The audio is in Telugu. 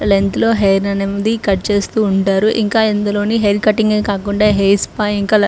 లెంత్ లో హెయిర్ అనేది కట్ చేస్తూ ఉంటారు. ఇంకా అందులోని హెయిర్ కటింగ్ కాకుండా హెయిర్ స్పా ఇంకా లె --